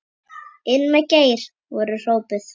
Inn með Geir! voru hrópuð.